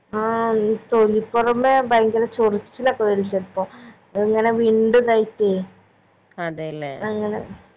ആ ഈ തൊലി ഭയങ്കര ചൊറിച്ചിലൊക്കെ വരും ചെലപ്പോ ഇങ്ങനെ വിണ്ട് ഇതായിട്ടേ അങ്ങനെ